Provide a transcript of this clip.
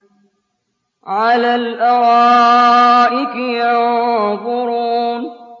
عَلَى الْأَرَائِكِ يَنظُرُونَ